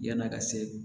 Yann'a ka se